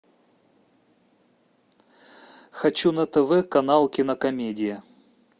хочу на тв канал кинокомедия